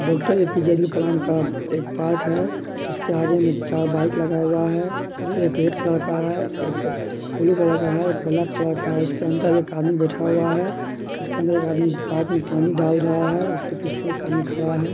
Doctor A P J Abdul Kalam का एक park है उसके आगे में चार बाइक लगा हुआ हैजो एक रेड कलर का है एक ब्लू कलर का है एक ब्लैक कलर का है उसके अंदर एक आदमी बैठा हुआ है उसके अंदर एक आदमी बाग में पानी डाल रहा है उसके पीछे एक आदमी खड़ा है।